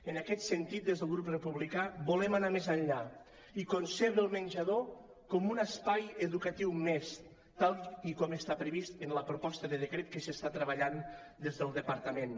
en aquest sentit des del grup republicà volem anar més enllà i concebre el menjador com un espai educatiu més tal com està previst en la proposta de decret que s’està treballant des del departament